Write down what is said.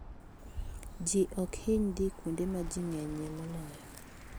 Ji ok hiny dhi kuonde ma ji ng'enyie moloyo.